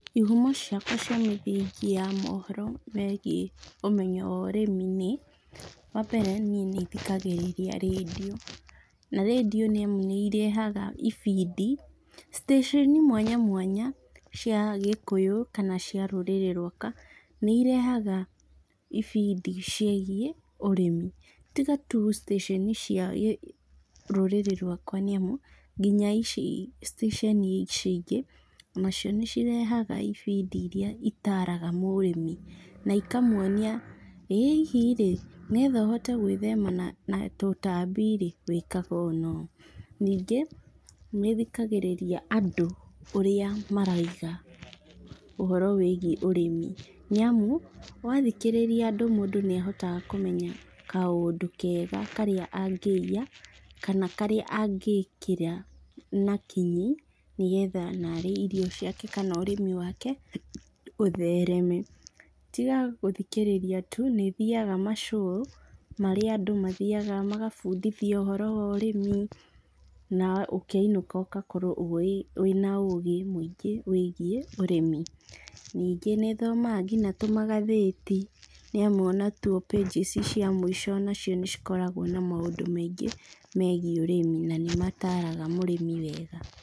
Ihumo ciakwa cia mĩthingĩ ya mohoro megiĩ ũmenyo wa ũrĩmĩ nĩ, wambere niĩ nĩthikagĩrĩria rĩndio, na rĩndio nĩ irehaga ibindi, stĩcĩni mwanyamwanya cia gĩkũyũ kana cia rũrĩrĩ rwakwa, nĩ irehaga ibindi ciĩgiĩ ũrimi, tiga tu stĩcĩni cia rũriĩrĩ rwakwa nĩamu, nginya ici stĩcĩni ici ingĩ, nacio nĩcirehaga ibindi iria citaraga mũrĩmi, na ikamuonia ĩ hihi rĩ, nĩgetha ũhote gwĩthema na tũtambi rĩ, wĩkaga ũũ na ũũ, ningĩ nĩthikagĩrĩria andũ ũrĩa maraiga, ũhoro wĩgiĩ ũrĩmi, nĩamu, wathikĩrĩria andũ mũndũ nĩahotaga kũmenya kaũndũ kega karĩa angĩiya, kana karĩa angĩkĩra na kinyi, nĩgetha narĩ irio ciake kana ũrĩmi wake, ũthereme. Tiga gũthikĩrĩria tu, nĩthiaga ma show marĩa andũ mathiaga magabundithio ũhoro wa ũrĩmi, na ũkĩinũka ũgakorwo wĩna ũgĩ mũingĩ wĩgiĩ ũrĩmĩ. Ningĩ nĩthomaga nginya tũmagathĩti, nĩamu onatuo pages cia mũico onacio nĩcikoragwo na maũndũ maingĩ megiĩ ũrimi, na nĩmataraga mũrĩmi wega.